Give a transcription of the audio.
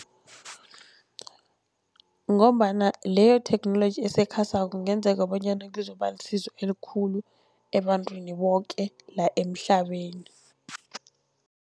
Ngombana leyotheknoloji esekhasako kungenzeka bonyana kuzokuba lisizo elikhulu ebantwini boke la emhlabeni.